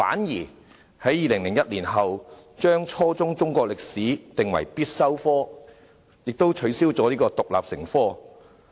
2001年，中史定為初中必修科，卻取消了獨立成科。